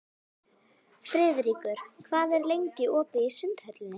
Friðríkur, hvað er lengi opið í Sundhöllinni?